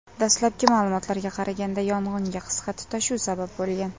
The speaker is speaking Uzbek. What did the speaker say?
Dastlabki ma’lumotlarga qaraganda, yong‘inga qisqa tutashuv sabab bo‘lgan.